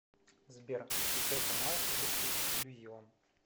сбер включай канал русский иллюзион